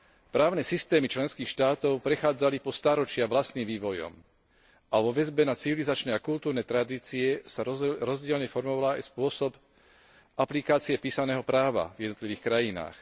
Právne systémy členských štátov prechádzali po stáročia vlastným vývojom a vo väzbe na civilizačné a kultúrne tradície sa rozdielne formoval aj spôsob aplikácie písaného práva v jednotlivých krajinách.